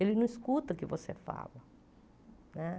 Ele não escuta o que você fala né.